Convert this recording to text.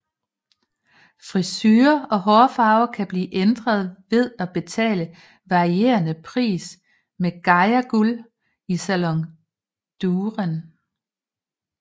Frisure og hårfarve kan blive ændret ved at betale varierende priser med Gaia Guld i Salon Durem